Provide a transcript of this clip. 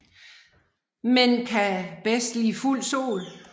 Men kan bedst lide fuld sol